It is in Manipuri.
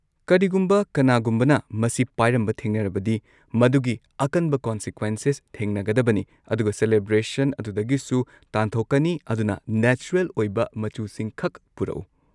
ꯀꯔꯤꯒꯨꯝꯕ ꯀꯅꯥꯒꯨꯝꯕꯅ ꯃꯁꯤ ꯄꯥꯏꯔꯝꯕ ꯊꯦꯡꯅꯔꯕꯗꯤ, ꯃꯗꯨꯒꯤ ꯑꯀꯟꯕ ꯀꯣꯟꯁꯤꯀ꯭ꯋꯦꯟꯁꯦꯁ ꯊꯦꯡꯅꯒꯗꯕꯅꯤ ꯑꯗꯨꯒ ꯁꯦꯂꯦꯕ꯭ꯔꯦꯁꯟ ꯑꯗꯨꯗꯒꯤꯁꯨ ꯇꯥꯟꯊꯣꯛꯀꯅꯤ ꯑꯗꯨꯅ ꯅꯦꯆꯔꯦꯜ ꯑꯣꯏꯕ ꯃꯆꯨꯁꯤꯡꯈꯛ ꯄꯨꯔꯛꯎ!